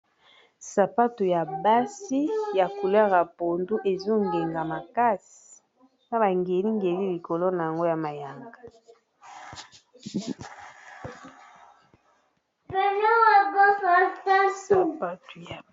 Sapato ya basi ya couleur ya pondu ezongenga makasi na bangeli-ngeli likolo nango ya mayanga.